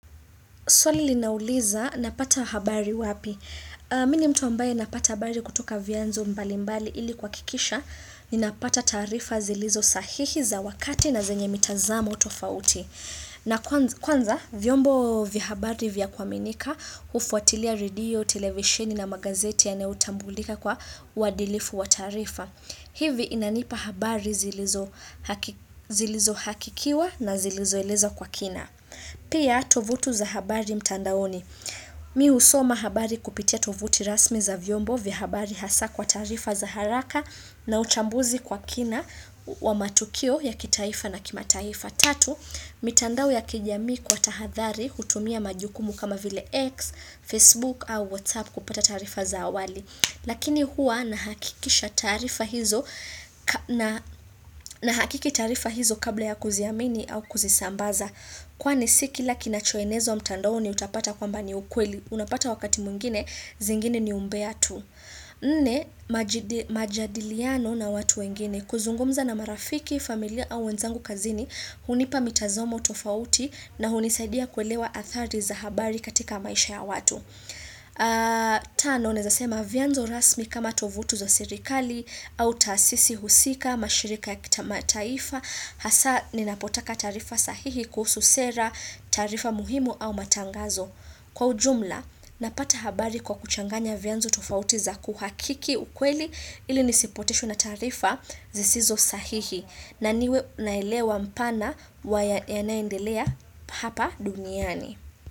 Swali linauliza napata habari wapi? Mi ni mtu ambaye napata habari kutoka vyanzo mbali mbali ili kwa kikisha ni napata tarifa zilizo sahihi za wakati na zenye mitazama tofauti. Na kwanza vyombo vya habari vya kuaminika ufuatilia radio, televisioni na magazeti yanayotambulika kwa uadilifu wa tarifa. Hivi inanipa habari zilizohakikiwa na zilizoelezwa kwa kina. Pia tovutu za habari mtandaoni. Mi usoma habari kupitia tovuti rasmi za vyombo vya habari hasa kwa tarifa za haraka na uchambuzi kwa kina wa matukio ya kitaifa na kimataifa. Tatu, mitandao ya kijami kwa tahadhari kutumia majukumu kama vile X, Facebook au WhatsApp kupata taarifa za awali. Lakini huwa nahakikisha taarifa hizo kabla ya kuziamini au kuzisambaza. Kwani si kila kinachoenezwa wa mtandao ni utapata kwamba ni ukweli. Unapata wakati mwngine, zingine ni umbea tu. Nne, majadiliano na watu wengine. Kuzungumza na marafiki, familia au wenzangu kazini hunipa mitazomo tofauti na hunisaidia kuelewa athari za habari katika maisha ya watu Tano, neza sema vyanzo rasmi kama tovutu za serikali au tasisi husika, mashirika ya taifa hasa ninapotaka tarifa sahihi kuhusu sera taarifa muhimu au matangazo Kwa ujumla, napata habari kwa kuchanganya vyanzo tofauti za kuhakiki ukweli ili nisipotishwe na tarifa zisizo sahihi na niwe nailewa mpana yanaendelea hapa duniani.